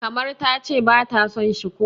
kamar ta ce ba ta son shi ko?